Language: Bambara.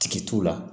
Tigi t'u la